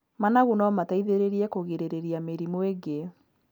Managu no mateithĩrĩrie kũgirĩrĩria mĩrimũ ĩngĩ.